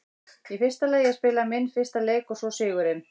Í fyrsta lagi að spila minn fyrsta leik og svo sigurinn.